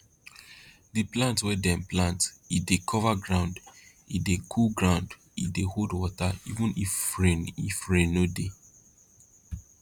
di plant wey dem plant e dey cover ground e dey cool ground e dey hold water even if rain if rain no dey